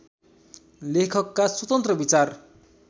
लेखकका स्वतन्त्र विचार